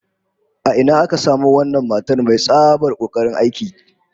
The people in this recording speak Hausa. A ina aka samo wannan matar mai tsabar kokarin aiki?